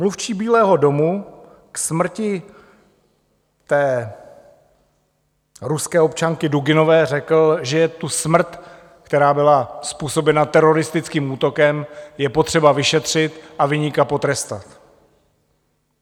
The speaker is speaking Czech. Mluvčí Bílého domu k smrti té ruské občanky Duginové řekl, že tu smrt, která byla způsobena teroristickým útokem, je potřeba vyšetřit a viníka potrestat.